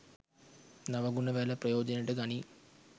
නව ගුණ වැල ප්‍රයෝජනයට ගනී.